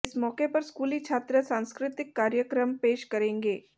इस मौके पर स्कूली छात्र सांस्कृतिक कार्यक्रम पेश करेंगे